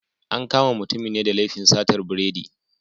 An kama mutumin ne da laifin satar biredi.